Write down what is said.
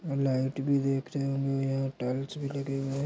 Light भी देखने को मिल रहा टाइल्स भी लगे हुए है।